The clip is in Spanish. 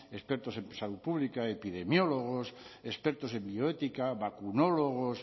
expertos en salud pública epidemiólogos expertos en bioética vacunólogos